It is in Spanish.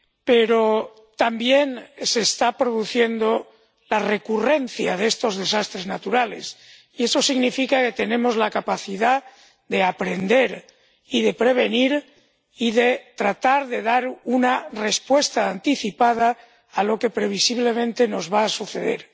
Pero también se está produciendo la recurrencia de estas catástrofes naturales, y eso significa que tenemos la capacidad de aprender y de prevenir y de tratar de dar una respuesta anticipada a lo que previsiblemente nos va a suceder.